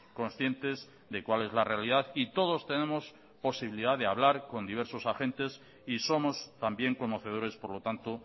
conscientes de cuál es la realidad y todos tenemos la posibilidad de hablar con diversos agentes y somos también conocedores por lo tanto